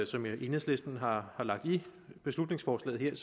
som enhedslisten har lagt i beslutningsforslaget